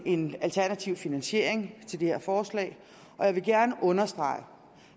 en alternativ finansiering til det her forslag jeg vil gerne understrege at